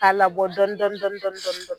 Ka labɔ dɔɔni dɔɔni .